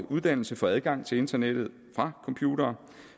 uddannelse få adgang til internettet fra computere